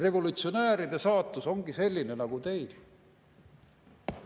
Revolutsionääride saatus ongi selline nagu teil.